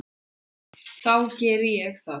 Þá geri ég það.